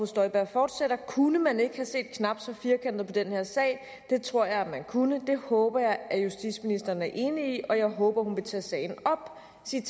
støjberg fortsætter kunne man ikke have set knap så firkantet på den her sag det tror jeg at man kunne det håber jeg at justitsministeren er enig i og jeg håber hun vil tage sagen op